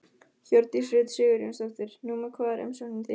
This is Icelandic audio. Hjördís Rut Sigurjónsdóttir: Númer hvað er umsóknin þín?